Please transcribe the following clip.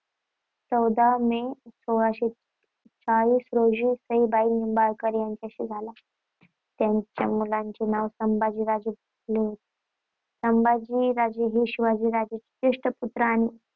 चौदा मे सोळाशे चाळीस रोजी सईबाई निंबाळकर यांच्याशी झाला. त्यांच्या मुलाचे नाव संभाजी होते. संभाजी हे शिवाजींचे ज्येष्ठ पुत्र आणि